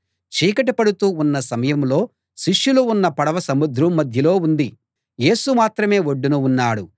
చీకటి పడుతూ ఉన్న సమయంలో శిష్యులు ఉన్న పడవ సముద్రం మధ్యలో ఉంది యేసు మాత్రమే ఒడ్డున ఉన్నాడు